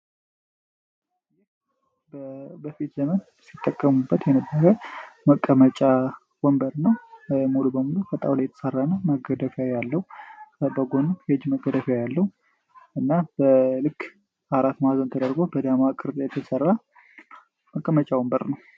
ይህ በፊት ዘመን ሲጠቀሙበት የነበረ መቀመጫ ወንበር ነው። ሙሉ በሙሎ ፈጣውላ የተሰራነ ማገደፊያ ያለው ከበጎንም የጅ መገደፊያ ያለው እና በልክ 4ት ማዘን ተደርጎ በደማቅርድ የተሠራ መቀመጫ ወንበር ነው።